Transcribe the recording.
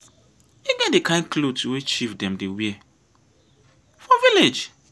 e get di kain clot wey chief dem dey wear for village.